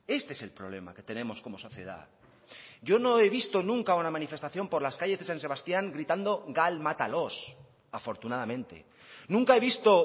este es el problema que tenemos como sociedad yo no he visto nunca una manifestación por las calles de san sebastián gritando gal mátalos afortunadamente nunca he visto